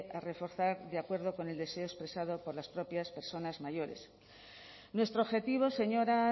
a reforzar de acuerdo con el deseo expresado por las propias personas mayores nuestro objetivo señora